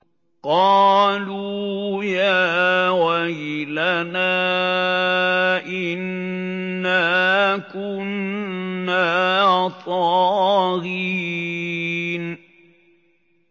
قَالُوا يَا وَيْلَنَا إِنَّا كُنَّا طَاغِينَ